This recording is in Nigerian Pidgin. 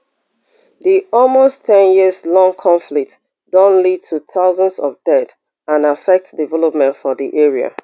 di almost ten years long conflict don lead to thousands of deaths and affect development for di area